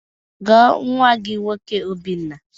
Gwụọ nwa gị nwoke Obinna!